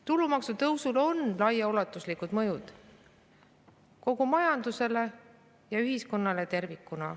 Tulumaksu tõusul on laiaulatuslik mõju kogu majandusele ja ühiskonnale tervikuna.